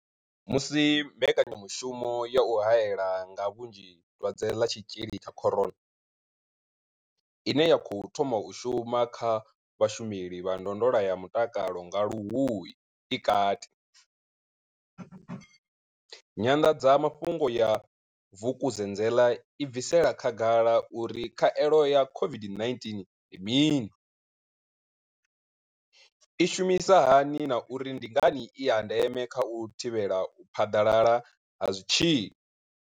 Musi mbekanyamushumo ya u hae la nga vhunzhi dwadze ḽa tshitzhili tsha corona, ine ya khou thoma u shuma kha vhashumeli vha ndondolo ya mutakalo nga Luhuhi i kati. Nyanḓadzamafhungo ya Vukuzenzele i bvisela khagala uri khaelo ya COVID-19 ndi mini, i shumisa hani na uri ndi ngani i ya ndeme kha u thivhela u phaḓalala ha zwitzhili.